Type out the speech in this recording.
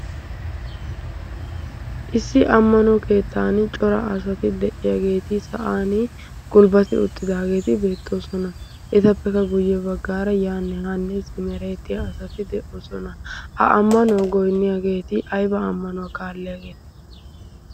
issi ammana keettan cora asati de7iyaageeti sa7an gulbbati uttidaageeti beettoosona etappekka guyye baggaara yaannee hanneesimereetiya asati de7oosona ha ammanuwaa goinniyaageeti aiba ammanuwaa kaalleaageete